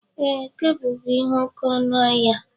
Ee, kebụl bú ihe oke ọnụ ahia